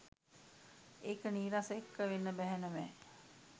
ඒක නීරස එක්ක වෙන්න බැහැ නෙව